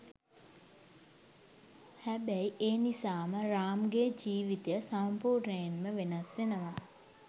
හැබැයි ඒ නිසාම රාම්ගේ ජීවිතය සම්පූර්ණයෙන්ම වෙනස් වෙනවා.